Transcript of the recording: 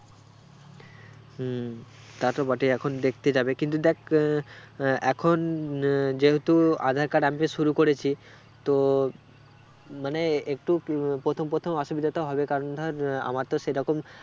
হম তা তো বটেই এখন দেখতে যাবে কিন্তু দেখ আহ আহ এখন আহ যেহেতু আঁধার card update শুরু করেছি তো মানে একটু প্রথম প্রথম অসুবিধাতো হবে কারণ ধর আহ আমার তো সেরকম